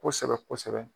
Kosɛbɛ kosɛbɛ